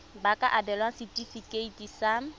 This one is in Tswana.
ba ka abelwa setefikeiti sa